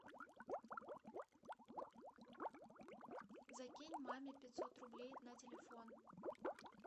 закинь маме пятьсот рублей на телефон